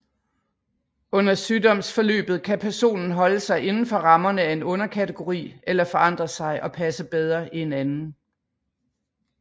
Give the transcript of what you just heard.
Under sygdomsforløbet kan personen holde sig indenfor rammerne af en underkategori eller forandre sig og passe bedre i en anden